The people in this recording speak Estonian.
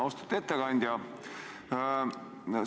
Austatud ettekandja!